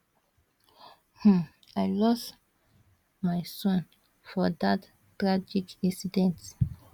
um i lose my son for dat tragic incident